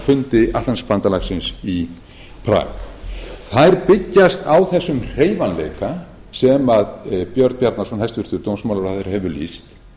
í kjölfarið á fundi atlantshafsbandalagsins í prag þær byggjast á þessum hreyfanleika sem hæstvirtur dómsmrh björn bjarnason hefur lýst